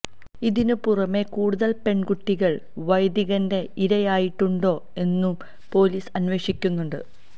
ഇതിന് പുറമേ കൂടുതൽ പെൺകുട്ടികൾ വൈദികന്റെ ഇരായായിട്ടുണ്ടോ എന്നും പൊലീസ് അന്വേഷിക്കുന്നുണ്ട്